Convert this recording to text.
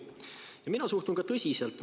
Mina suhtun sellesse ka tõsiselt.